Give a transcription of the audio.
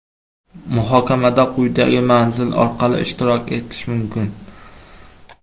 Muhokamada quyidagi manzil orqali ishtirok etish mumkin.